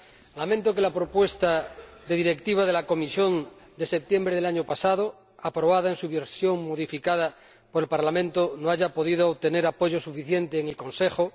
Lamento que la propuesta de Directiva de la Comisión de septiembre del año pasado, aprobada en su versión modificada por el Parlamento, no haya podido tener apoyo suficiente en el Consejo.